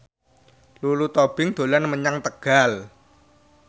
Lulu Tobing dolan menyang Tegal